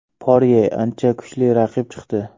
Porye ancha kuchli raqib chiqdi.